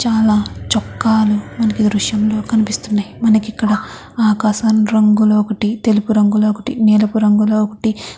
చాలా చొక్కాలు మనకే దృశ్యంగా కనిపిస్తున్నాను మనకి ఇక్కడ ఆకాశం రంగులో ఒకటి తెలుపు రంగులో ఒకటి నీలపు రంగులో ఒకటి.